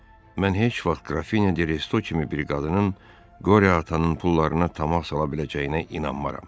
Mən heç vaxt Qrafine Desto kimi bir qadının qoria atanın pullarına tama sala biləcəyinə inanmaram.